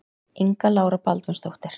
Inga Lára Baldvinsdóttir.